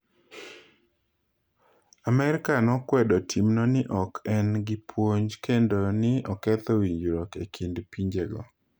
Amerka nokwedo timno ni ok en gi puonj kendo ni oketho winjruok e kind pinjego.